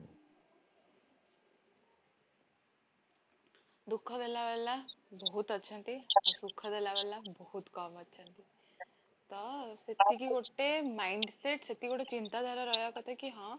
ଦୁଃଖ ଦେଲା ଵାଲା ବହୁତ ଅଛନ୍ତି, ଆଉ ସୁଖ ଦେଲା ଵାଲା ବହୁତ କମ ଅଛନ୍ତି ତ ସେତିକି ଗୋଟେ mindset ସେମିତି ଗୋଟେ ଚିନ୍ତାଧାରା ରହିବ କଥା କି ହଁ